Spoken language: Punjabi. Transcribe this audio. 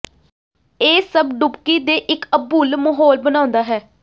ਇਹ ਸਭ ਡੁਬਕੀ ਦੇ ਇਕ ਅਭੁੱਲ ਮਾਹੌਲ ਬਣਾਉਦਾ ਹੈ